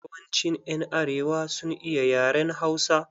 Yawancin ƴan arewa sun iya yaren Hausa.